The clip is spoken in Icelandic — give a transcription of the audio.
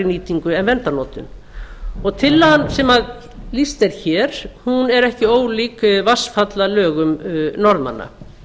nýtingu en verndarnotkun og tillagan sem lýst er hér er ekki ólík vatnsfallalögum norðmanna